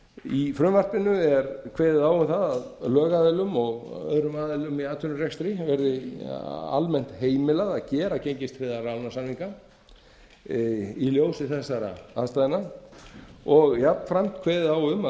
í frumvarpinu er kveðið á um það að lögaðilum og öðrum aðilum í atvinnurekstri verði almennt heimilað að gera gengistryggða lánasamninga í ljósi þessara aðstæðna og jafnframt kveðið á um